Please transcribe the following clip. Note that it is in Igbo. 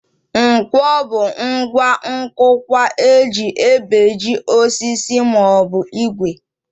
Nkwọ bụ ngwa nkụkwa e ji ebeji osisi maọbụ ìgwè